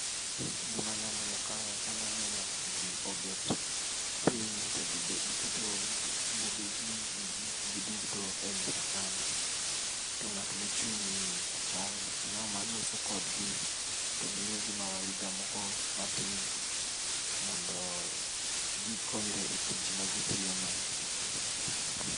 Gima anyalo neno kae , anya neno ji obet piny to giketo bugegi gi gikgi duto e mesa kanyo. To ng'at mochung' ni ochal na ng'ama loso kodgi to miyogo mawaidha moko matin mondo gikonyre e tich magitiyono.